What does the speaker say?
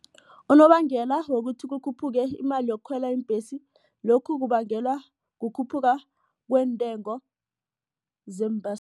Unobangela wokuthi ukukhuphuke imali yokukhwela iimbhesi lokhu kubangelwa kukhuphuka kweentengo